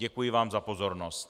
Děkuji vám za pozornost.